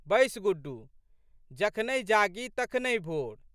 बैस गुड्डू। जखनहि जागी तखनहि भोर।